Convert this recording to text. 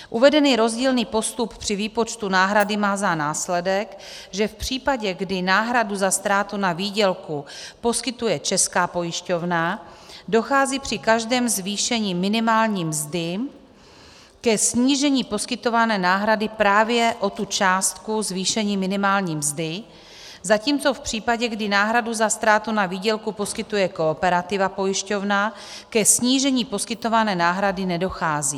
Uvedený rozdílný postup při výpočtu náhrady má za následek, že v případě, kdy náhradu za ztrátu na výdělku poskytuje Česká pojišťovna, dochází při každém zvýšení minimální mzdy ke snížení poskytované náhrady právě o tu částku zvýšení minimální mzdy, zatímco v případě, kdy náhradu za ztrátu na výdělku poskytuje Kooperativa pojišťovna, ke snížení poskytované náhrady nedochází.